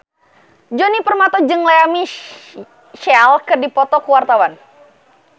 Djoni Permato jeung Lea Michele keur dipoto ku wartawan